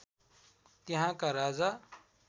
त्यहाँका राजा